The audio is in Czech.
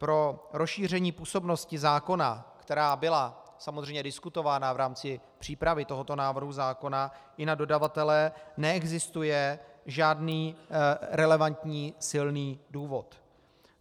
Pro rozšíření působnosti zákona, která byla samozřejmě diskutována v rámci přípravy tohoto návrhu zákona i na dodavatele, neexistuje žádný relevantní silný důvod.